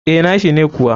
Eh, nashi ne kuwa.